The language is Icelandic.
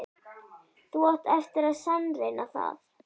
Þú átt eftir að sannreyna það.